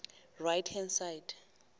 right hand side